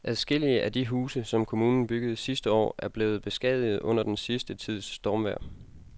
Adskillige af de huse, som kommunen byggede sidste år, er blevet beskadiget under den sidste tids stormvejr.